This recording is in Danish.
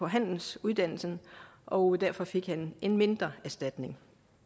handelsuddannelse og derfor fik han en mindre erstatning